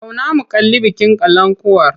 Zauna mu kalli bikin kalankuwar!